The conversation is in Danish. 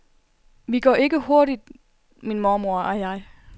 Vi går ikke hurtigt min mormor og jeg.